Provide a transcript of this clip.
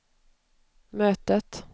mötet